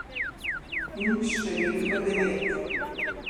In številko devet.